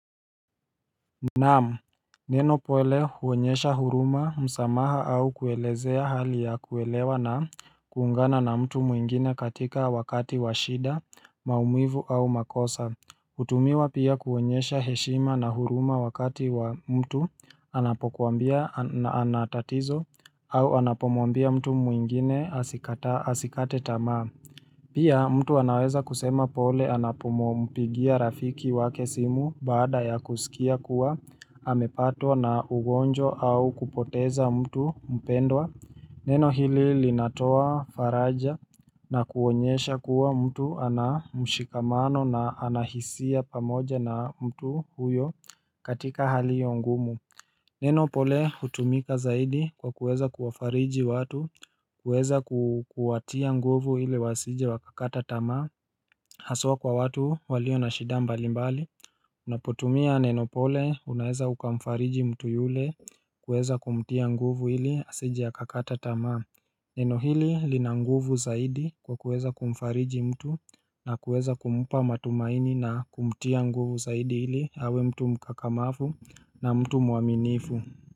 Naam, neno pole huonyesha huruma msamaha au kuelezea hali ya kuelewa na kuungana na mtu mwingine katika wakati washida, maumivu au makosa hutumiwa pia kuonyesha heshima na huruma wakati wa mtu anapokuambia anatatizo au anapomwambia mtu mwingine asikate tamaa Pia mtu anaweza kusema pole anapo mpigia rafiki wa kesimu baada ya kusikia kuwa amepatwa na ugonjwa au kupoteza mtu mpendwa Neno hili linatoa faraja na kuonyesha kuwa mtu ana mshikamano na anahisia pamoja na mtu huyo katika hali hiyongumu Nenopole hutumika zaidi kwa kuweza kuwafariji watu, kuweza kuwatia nguvu hili wasije wakakata tamaa Haswa kwa watu walio na shida mbali mbali Unapotumia nenopole unaeza ukamfariji mtu yule kuweza kumtia nguvu hili asije akakata tamaa Nenohili linanguvu zaidi kwa kuweza kumfariji mtu na kuweza kumpa matumaini na kumtia nguvu zaidi hili awe mtu mkakamavu na mtu mwaminifu.